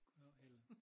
Goddav Helle